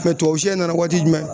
Mɛ tubabusɛ nana waati jumɛn